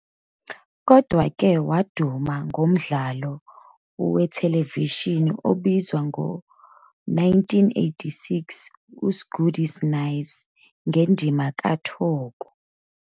Kodwa-ke, "waduma ngomdlalo wethelevishini obizwa ngo-1986 uSgudi 'Snaysi ngendima ka'Thoko" '.